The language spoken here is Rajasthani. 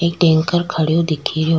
एक टेंकर खडयो दिखे रो।